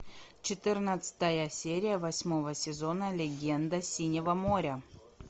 четырнадцатая серия восьмого сезона легенда синего моря